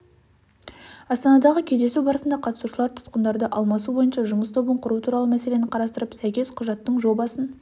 астанадағы кездесу барысында қатысушылар тұтқындарды алмасу бойынша жұмыс тобын құру туралы мәселені қарастырып сәйкес құжаттың жобасын